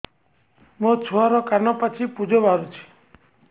ମୋ ଛୁଆର କାନ ପାଚି ପୁଜ ବାହାରୁଛି